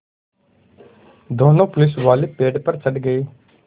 दोनों पुलिसवाले पेड़ पर चढ़ गए